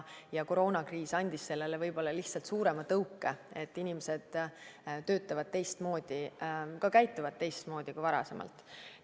Koroonakriis andis sellele lihtsalt suurema tõuke, et inimesed töötavad teistmoodi, ka käituvad teistmoodi kui varasemalt.